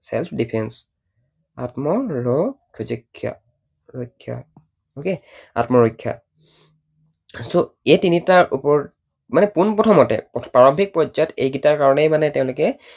Self defense আত্ম ৰ ক্ষা, ৰক্ষা, okay আত্মৰক্ষা। so এই তিনিটাৰ ওপৰত, মানে পোন প্ৰথমতে প্ৰাৰম্ভিক পৰ্য্যায়ত এই কেইটাৰ কাৰণেই মানে তেঁওলোকে